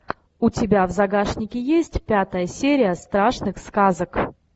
у тебя в загашнике есть пятая серия страшных сказок